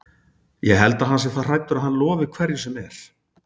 Ég held að hann sé það hræddur að hann lofi hverju sem er.